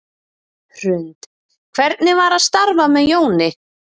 Hrund: Hvernig var að starfa með Jóni?